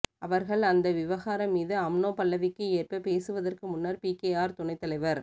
அவர்கள் அந்த விவகாரம் மீது அம்னோ பல்லவிக்கு ஏற்ப பேசுவதற்கு முன்னர் பிகேஆர் துணைத் தலைவர்